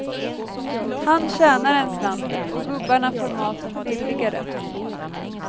Han tjänar en slant, och gubbarna får maten billigare.